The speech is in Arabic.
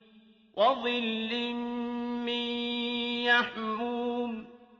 وَظِلٍّ مِّن يَحْمُومٍ